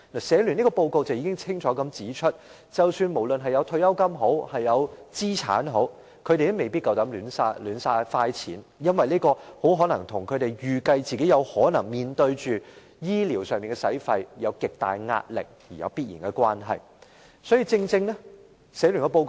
社聯這份報告已清楚指出，無論長者有退休金或資產，他們也未必敢亂花錢，這或許由於他們預計自己可能面對醫療費用，因而有極大的壓力所致。